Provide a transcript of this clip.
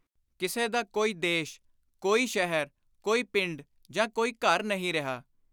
ਕਿਸੇ ਦਾ ਕੋਈ ਦੇਸ਼, ਕੋਈ ਸ਼ਹਿਰ, ਕੋਈ ਪਿੰਡ ਜਾਂ ਕੋਈ ਘਰ ਨਹੀਂ ਰਿਹਾ।